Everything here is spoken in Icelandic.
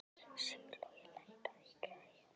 Sigurlogi, lækkaðu í græjunum.